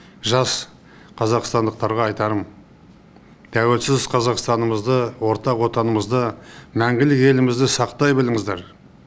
жас қазақстандықтарға айтарым тәуелсіз қазақстанымызды ортақ отанымызды мәңгілік елімізді сақтай біліңіздер